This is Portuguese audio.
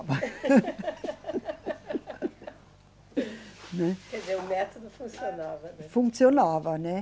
Quer dizer, o método funcionava, né? Funcionava, né